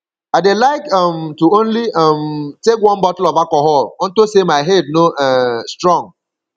i dey like um to only um take one bottle of alcohol unto say my head no um strong